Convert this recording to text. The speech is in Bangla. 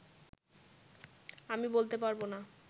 আমি বলতে পারবো না